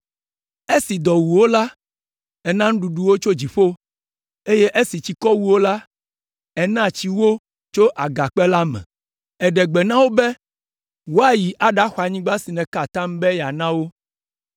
“Esi dɔ wu wo la, èna nuɖuɖu wo tso dziƒo, eye esi tsikɔ wu wo la, èna tsi wo tso agakpe la me. Èɖe gbe na wo be woayi aɖaxɔ anyigba si nèka atam be yeana wo.